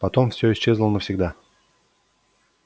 потом все исчезло навсегда